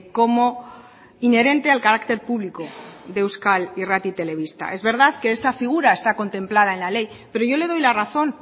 como inherente al carácter público de euskal irrati telebista es verdad que esta figura está contemplada en la ley pero yo le doy la razón